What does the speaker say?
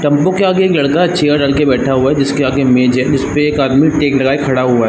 Tempo के आगे एक लड़का चेयर डालकर बैठा हुआ है जिसके आगे मेज है उस पे एक आदमी टेक लगाए खड़ा हुआ है ।